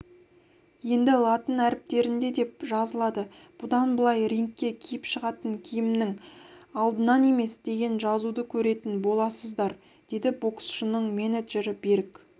енді латын әріптерінде деп жазылады бұдан былай рингке киіп шығатын киімінің алдынан емес деген жазуды көретін боласыздар деді боксшының менеджері берік